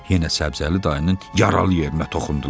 Yenə Səbzəli dayının yaralı yerinə toxundular.